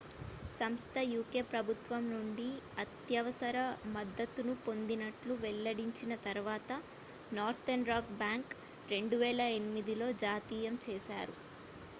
సంస్థ uk ప్రభుత్వం నుండి అత్యవసర మద్దతు ను పొందినట్లు వెల్లడించిన తరువాత నార్తర్న్ రాక్ బ్యాంకును 2008లో జాతీయం చేశారు